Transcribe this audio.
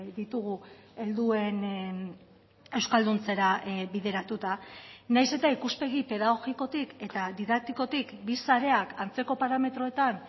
ditugu helduen euskalduntzera bideratuta nahiz eta ikuspegi pedagogikotik eta didaktikotik bi sareak antzeko parametroetan